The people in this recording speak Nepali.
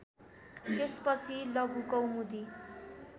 त्यसपछि लघुकौमुदी